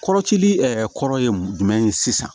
Kɔrɔcili kɔrɔ ye mun ye sisan